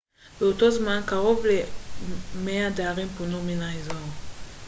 באותו זמן קרוב ל-100 דיירים פונו מן האזור